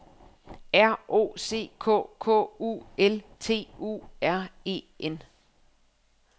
R O C K K U L T U R E N